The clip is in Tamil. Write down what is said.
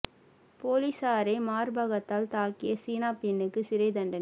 போலீசாரை மார்பகத்தால் தாக்கிய சீன பெண்ணுக்கு சிறை தண்டனை